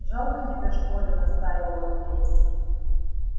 жалко тебе что ли настаивал андрей